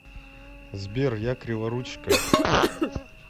сбер я криворучка